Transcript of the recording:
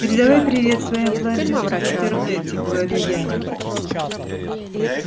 передавай привет своим блондинкам в интернете говорю я